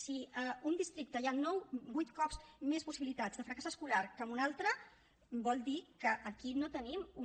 si a un districte hi ha vuit cops més possibilitats de fracàs escolar que en un altre vol dir que aquí no tenim una